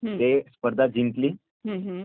ती स्पर्धा जिंकली